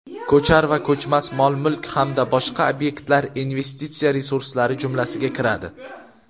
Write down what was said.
ko‘char va ko‘chmas mol-mulk hamda boshqa obyektlar investitsiya resurslari jumlasiga kiradi.